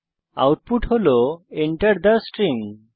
এখানে এটি Enter থে স্ট্রিং হিসাবে প্রদর্শিত হয়